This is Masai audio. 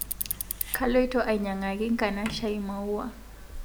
Kaloito ainyang'aki nkanashai maua